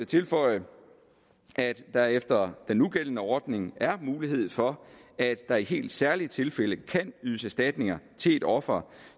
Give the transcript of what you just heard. tilføje at der efter den nugældende ordning er mulighed for at der i helt særlige tilfælde kan ydes erstatning til et offer